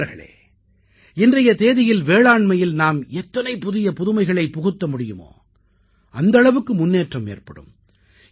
நண்பர்களே இன்றைய தேதியில் வேளாண்மையில் நாம் எத்தனை புதிய புதுமைகளைப் புகுத்த முடியுமோ அந்த அளவுக்கு முன்னேற்றம் ஏற்படும்